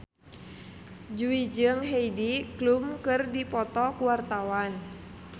Jui jeung Heidi Klum keur dipoto ku wartawan